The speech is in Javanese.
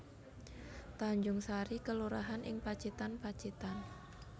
Tanjungsari kelurahan ing Pacitan Pacitan